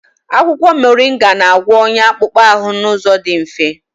Akwụkwọ Moringa na-agwọ ọnya akpụkpọ ahụ n'ụzọ dị mfe.